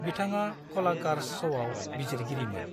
बिथाङा कलाकार्ज श'आव बिजिरगिरिमोन।